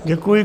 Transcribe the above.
Děkuji.